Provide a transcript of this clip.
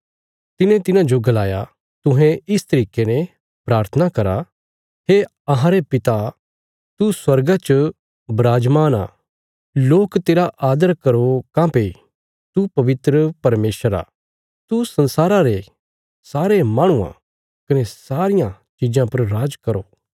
तिने तिन्हाजो गलाया तुहें इस तरिके ने प्राथना करा हे अहांरे पिता तू स्वर्गा च बिराजमान आ लोक तेरा आदर करो काँह्भई तू पवित्र परमेशर आ तू संसारा रे सारे माहणुआं कने सारियां चीजां पर राज करो